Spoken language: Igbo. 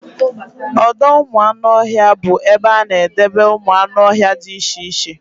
Ọdọụmụanụọhịa bụ ebe a na-edebe ụmụanụọhịa dị iche iche